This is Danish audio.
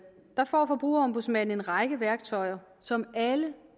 får forbrugerombudsmanden en række værktøjer som alle